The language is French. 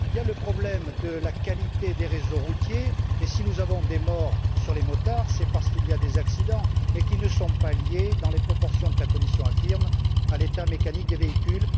Il y a aussi le problème de la qualité des réseaux routiers, et si nous avons des morts parmi les motards, c'est parce qu'il y a des accidents, mais ceux ci ne sont pas liés, dans les proportions que la Commission affirme, à l'état mécanique des véhicules.